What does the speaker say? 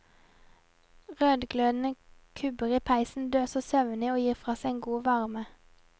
Rødglødende kubber i peisen døser søvnig og gir fra seg en god varme.